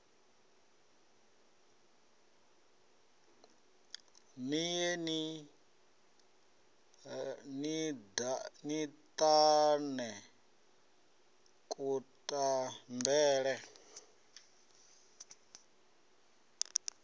ni ye ni ṱane kutambele